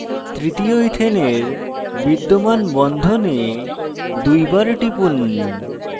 তৃতীয় ইথেনের বিদ্যমান বন্ধনে দুইবার টিপুন